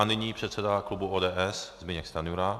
A nyní předseda klubu ODS Zbyněk Stanjura.